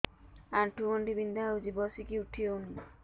ଆଣ୍ଠୁ ଗଣ୍ଠି ବିନ୍ଧା ହଉଚି ବସିକି ଉଠି ହଉନି